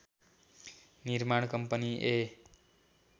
निर्माण कम्पनी ए